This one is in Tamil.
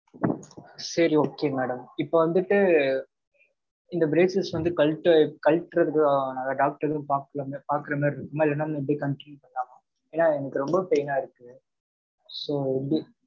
சரி okay madam. இப்ப வந்துட்டு, இந்த braces வந்து கழற்ற~ கழற்றத்துக்கு ஆஹ் doctor ஏதும் பார்க்கலாமா பாக்குற மாதிரி இருக்குமா? இல்லேன்னா, நம்ம எப்படி continue பண்ணலாமா? ஏன்னா, எனக்கு ரொம்ப pain ஆ இருக்கு. So வந்து,